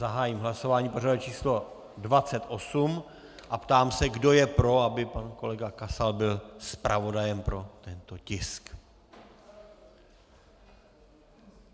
zahájím hlasování pořadové číslo 28 a ptám se, kdo je pro, aby pan kolega Kasal byl zpravodajem pro tento tisk.